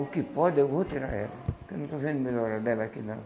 O que pode, eu vou tirar ela, porque eu não estou vendo melhora dela aqui, não.